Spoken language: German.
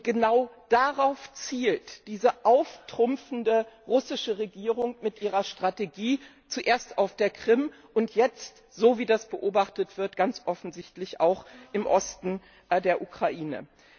Genau darauf zielt diese auftrumpfende russische Regierung mit ihrer Strategie ab, zuerst auf der Krim und jetzt, so wie das beobachtet wird, ganz offensichtlich auch im Osten der Ukraine.